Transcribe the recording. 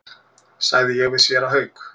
sagði ég við séra Hauk.